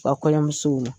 Ba kɔɲɔmusow